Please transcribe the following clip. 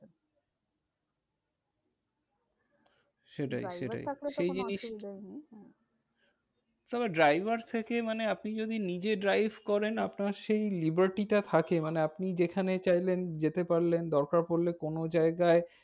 সেটাই সেটাই driver থাকলে তো সেই জিনিস কোনো অসুবিধা নেই। আবার driver থেকে মানে আপনি যদি নিজে drive করেন আপনার সেই liberty টা থাকে। মানে আপনি যেখানে চাইলেন যেতে পারলেন দরকার পড়লে কোনো জায়গায়